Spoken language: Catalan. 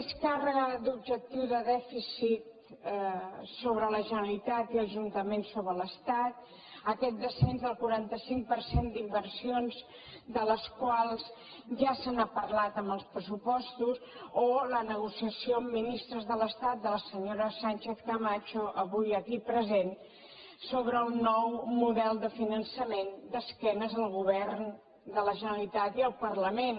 més càrrega d’objectiu de dèficit sobre la generalitat i ajuntaments sobre l’estat aquest descens del quaranta cinc per cent d’inversions de les quals ja se n’ha parlat en els pressupostos o la negociació amb ministres de l’estat de la senyora sánchez camacho avui aquí present sobre el nou model de finançament d’esquena al govern de la generalitat i al parlament